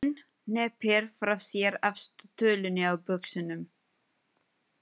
Hún hneppir frá sér efstu tölunni á buxunum.